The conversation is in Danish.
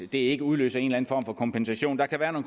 det ikke udløser en form for kompensation der kan være